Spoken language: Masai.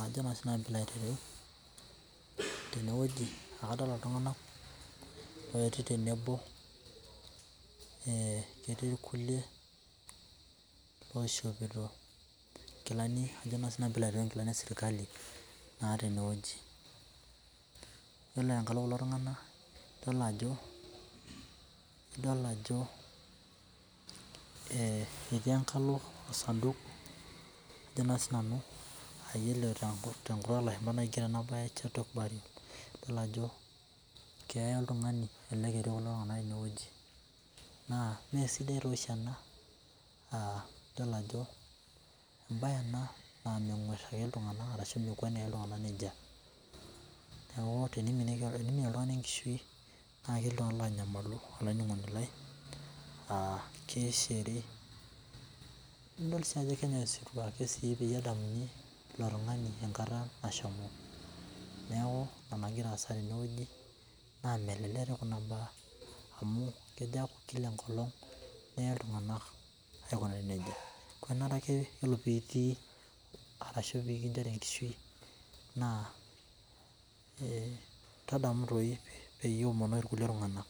ajo siinanu peyie ilo aitareu tene wueji. Ekadolita iltunganak ooyetuo tenebo eeeh ketii irkulie oishopito ikilani esirkali naa tene wueji. Ore tenkalo kulo tunganak naaidol ajo ee etii enkalo osanduk ajo naa sii nanu naa iyiolo ore tenkutuk oolashumpa naa keigero ena bae chato bae. Idol ajo keeya oltungani etii kulo tunganak tene wueji naa mesidai taa oshi ena aah embae ena naa mekweni ake iltunganak nejia. Neaku teneiminie oltungani enkishui naa ketii iltunganak oonyamalu olaininingoni lai aah keishiri, nidol sii ajo kenyae osirua peyie edamuni ilo tungani tenkata nashomo. Niaku enagira aasa tene wueji naa melelek doi kuna baa amu kejo aaku kila enkolong, neye iltunganak aikunari nejia. Kenare ake ore piinchu arashu pee kinchiru enkishu naa tadamu doi peyie iomonoki kulie tunganak.